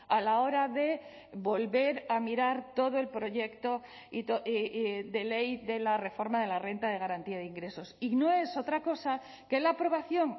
a la hora de volver a mirar todo el proyecto de ley de la reforma de la renta de garantía de ingresos y no es otra cosa que la aprobación